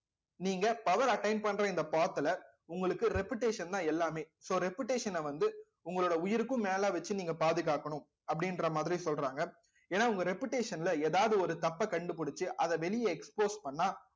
நீங்க power attain பண்ற இந்த path ல உங்களுக்கு reputation தான் எல்லாமே so reputation அ வந்து உங்களோட உயிருக்கும் மேல வச்சு நீங்க பாதுகாக்கணும் அப்படின்ற மாதிரி சொல்றாங்க ஏன்னா உங்க reputation ல ஏதாவது ஒரு தப்பை கண்டுபிடிச்சு அதை வெளிய expose பண்ணா